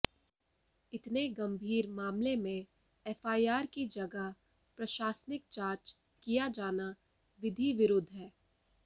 इतने गंभीर मामले में एफआईआर की जगह प्रशासनिक जांच किया जाना विधिविरुद्ध है